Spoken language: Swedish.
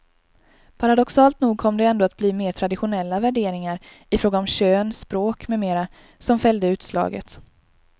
Paradoxalt nog kom det ändå att bli mer traditionella värderingar i fråga om kön, språk med mera som fällde utslaget.